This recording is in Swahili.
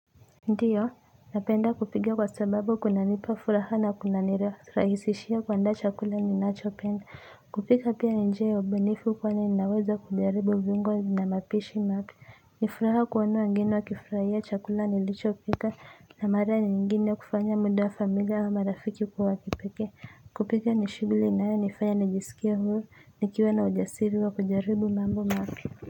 Ndiyo, napenda kupika kwa sababu kuna nipa furaha na kuna nira, rahisishia kuandaa chakula ni nacho penda. Kupika pia ni njia ya ubunifu kwani ninaweza kujaribu viungo na mapishi mapya. Ni furaha kuona wageni wakifurahia chakula nilichopika na mara nyingine kufanya muda familia wa marafiki kwa wa kipekee. Kupika ni shughuli inayo nifanya nijisikie huru, nikiwa na ujasiri wa kujaribu mambo mapya.